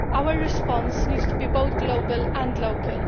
Our response needs to be both global and local.